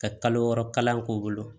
Ka kalo wɔɔrɔ kalan k'u bolo